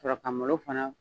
K'a sɔrɔ ka malo fana